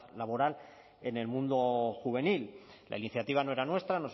laboral en el mundo juvenil la iniciativa no era nuestra